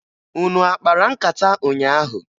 Unu a kpara nkata ụnyaahụ?